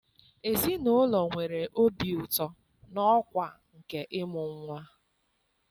Ezinụlọ nwere obi ụtọ na ọkwa nke ịmụ nwa